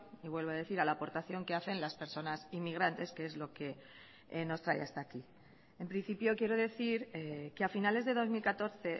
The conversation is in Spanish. y vuelvo a decir a la aportación que hacen las personas inmigrantes que es lo que nos trae hasta aquí en principio quiero decir que a finales de dos mil catorce